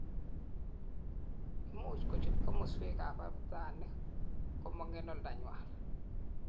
imuch kochut komoswek ab abutanik komong en oldanywan